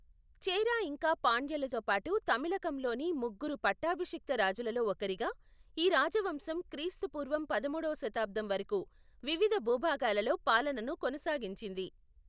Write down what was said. చేరా ఇంకా పాండ్యలతో పాటు తమిళకంలోని ముగ్గురు పట్టాభిషిక్త రాజులలో ఒకరిగా, ఈ రాజవంశం క్రీస్తు పూర్వం పదమూడువ శతాబ్దం వరకు వివిధ భూభాగాలలో పాలనను కొనసాగించింది.